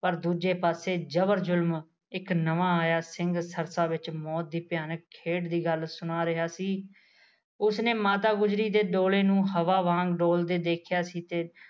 ਪਰ ਦੂਜੇ ਪਾਸੇ ਜਬਰ ਜੁਲਮ ਇੱਕ ਨਇਆ ਆਇਆ ਸਿੰਘ ਸਰਸਾ ਵਿੱਚ ਮੌਤ ਦੀ ਭਿਆਨਕ ਖੇਡ ਦੀ ਗੱਲ ਸੁਣਾ ਰਿਹਾ ਸੀ ਉਸ ਨੇ ਮਾਤਾ ਜੀ ਦੇ ਡੋਲਿਆ ਨੂੰ ਹਵਾ ਵਾਂਗ ਡੋਲਦੇ ਦੇਖਿਆ ਸੀ ਤੇ